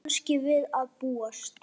Kannski við að búast.